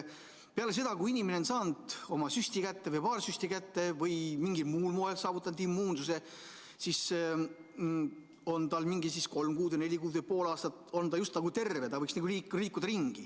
Peale seda, kui inimene on saanud oma süsti või paar süsti kätte või mingil muul moel saavutanud immuunsuse, on ta kolm-neli kuud või pool aastat just nagu terve ja võiks vabalt ringi liikuda.